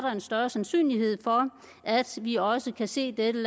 en større sandsynlighed for at vi også kan se dette